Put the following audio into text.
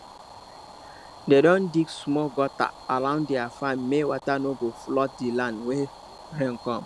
dem don dig small gutter around their farm make water no go flood the land when rain come